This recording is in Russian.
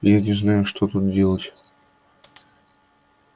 я не знаю что тут делать